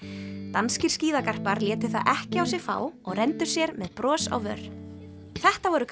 danskir létu það ekki á sig fá og renndu sér með bros á vör þetta voru